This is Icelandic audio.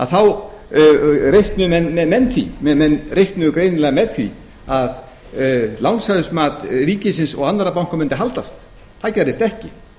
í hafi reiknuðu menn með því menn reiknuðu greinilega með því að lánsfjármat ríkisins og annarra banka mundi haldast það gerðist ekki